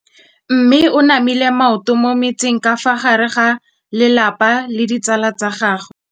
Mme o namile maoto mo mmetseng ka fa gare ga lelapa le ditsala tsa gagwe.